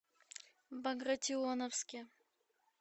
багратионовске